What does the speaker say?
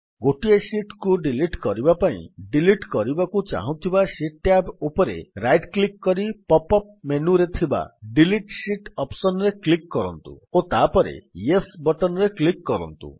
ଗୋଟିଏ ଶୀଟ୍ କୁ ଡିଲିଟ୍ କରିବା ପାଇଁ ଡିଲିଟ୍ କରିବାକୁ ଚାହୁଁଥିବା ଶୀଟ୍ ଟ୍ୟାବ୍ ଉପରେ ରାଇଟ୍ କ୍ଲିକ୍ କରି ପପ୍ ଅପ୍ ମେନୁରେ ଥିବା ଡିଲିଟ୍ ଶୀତ୍ ଅପ୍ସନ୍ ରେ କ୍ଲିକ୍ କରନ୍ତୁ ଓ ତାପରେ ୟେସ୍ ଅପ୍ସନ୍ ରେ କ୍ଲିକ୍ କରନ୍ତୁ